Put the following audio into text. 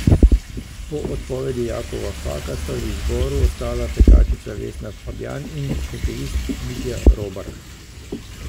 Po odpovedi Jakova Faka sta v izboru ostala tekačica Vesna Fabjan in hokejist Mitja Robar.